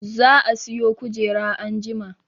Za a siyo kujera anjima